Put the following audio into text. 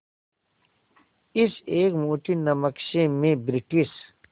इस एक मुट्ठी नमक से मैं ब्रिटिश